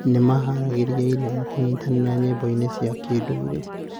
Nĩ maaharagĩrĩria irio na kũnyitanĩra nyĩmbo-inĩ cia kĩndũire.